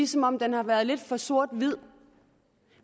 som om den har været lidt for sort hvid